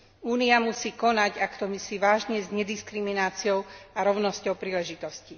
Únia musí konať, ak to myslí vážne s nediskrimináciou a rovnosťou príležitostí.